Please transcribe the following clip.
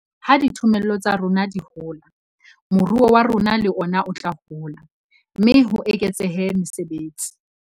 Ha dithomello tsa rona di hola, moruo wa rona le ona o tla hola, mme ho eketsehe mesebetsi.